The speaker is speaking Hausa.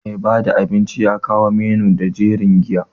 Mai bada abinci ya kawo menu da jerin giya.